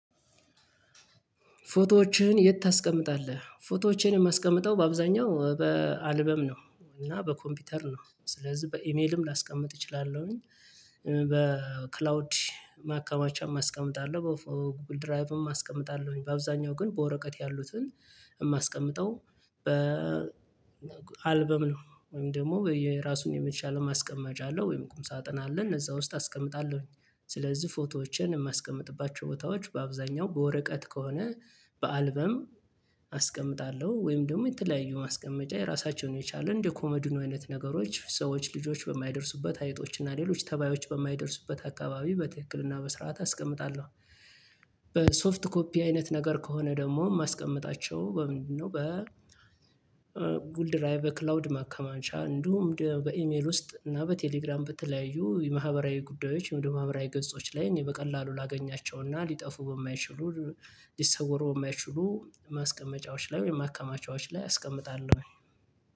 ፎቶዎችህን የት ታስቀምጣለህ? ፎቶዎችህን የማስቀምጠው በአብዛኛው በአልበም ነው። እና በኮምፒውተር ነው ስለዚህ በኢሜልም ላስቀምጥ እችላለሁኝ። በክላውድ ማከማቻም አስቀምጣለሁ በጎግል ድራይቭም አስቀምጣለሁኝ በአብዛኛው ግን በወረቀት ያሉትን የማስቀምጠው በ አልበም ነው። ወይም ደግሞ የራሱን የመቻል ማስቀመጫ አለው ወይም ቁም ሳጥና አለ እነዛ ውስጥ አስቀምጣለሁኝ። ስለዚህ ፎቶዎችን የማስቀምጥባቸው ቦታዎች በአብዛኛው በወረቀት ከሆነ በአልበም አስቀምጣለሁ ወይም ደግሞ የተለያዩ ማስቀመጫ የራሳቸውን የቻሉ እንደው ኮመድኖ አይነት ነገሮች ሰዎች ልጆች በማይደርሱበት አይጦች እና ሌሎች ተባዮች በማይደርሱበት አካባቢ በትክክልና በስርዓት አስቀምጣለሁ። በሶፍት ኮፒ አይነት ነገር ከሆነ ደግሞ ማስቀመጣቸው በምንድነው? በ በጎግል ድራቭ በክላውድ ማከማቻ እንዲሁም በኢሜል ውስጥ እና በቴሌግራም በተለያዩ የማህበራዊ ጉዳዮች የማህበራዊ ገጾች ላይ እኔ በቀላሉ ላገኛቸውና ሊጠፉ በማይችሉ ሊሰወሩ በማችሉ ማስቀመጫዎች ላይ ወይም ማከማቻዎች ላይ አስቀምጣለሁ።